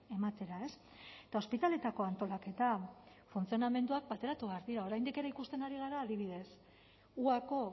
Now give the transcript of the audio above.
ematera eta ospitaleetako antolaketa funtzionamenduak bateratu behar dira oraindik ere ikusten ari gara adibidez huako